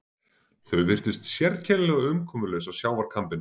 Þau virtust sérkennilega umkomulaus á sjávarkambinum.